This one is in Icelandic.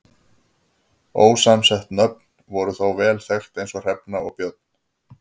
Ósamsett nöfn voru þó vel þekkt eins og Hrefna og Björn.